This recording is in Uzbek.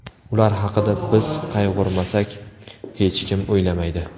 Ular haqida biz qayg‘urmasak, hech kim o‘ylamaydi.